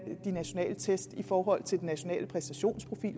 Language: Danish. de nationale test i forhold til den nationale præstationsprofil